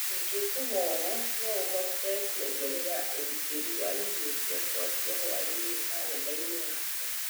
ĩngĩkũhoya no ũhote kuongerera ũgitĩri wa irio ciakwa cia hwaĩinĩ karenda-inĩ yakwa